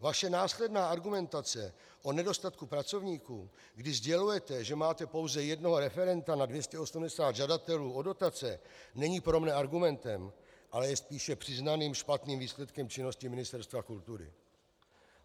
Vaše následná argumentace o nedostatku pracovníků, kdy sdělujete, že máte pouze jednoho referenta na 280 žadatelů o dotace, není pro mne argumentem, ale je spíše přiznaným špatným výsledkem činnosti Ministerstva kultury.